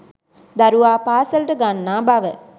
දරුවා පාසලට ගන්නා බව